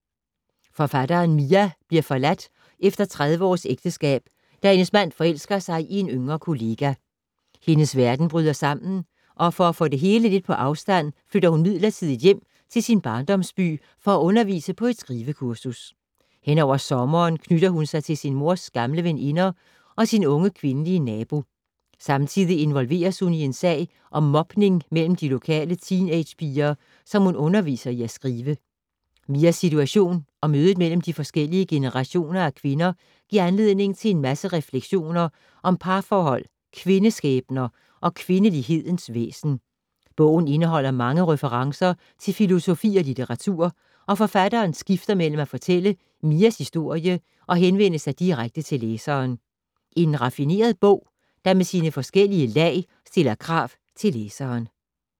Forfatteren Mia bliver forladt efter 30 års ægteskab, da hendes mand forelsker sig i en yngre kollega. Hendes verden bryder sammen, og for at få det hele lidt på afstand flytter hun midlertidigt hjem til sin barndomsby for at undervise på et skrivekursus. Henover sommeren knytter hun sig til sin mors gamle veninder og sin unge kvindelige nabo. Samtidig involveres hun i en sag om mobning mellem de lokale teenagepiger, som hun underviser i at skrive. Mias situation og mødet mellem de forskellige generationer af kvinder giver anledning til en masse refleksioner om parforhold, kvindeskæbner og kvindelighedens væsen. Bogen indeholder mange referencer til filosofi og litteratur, og forfatteren skifter mellem at fortælle Mias historie og henvende sig direkte til læseren. En raffineret bog, der med sine forskellige lag stiller krav til læseren.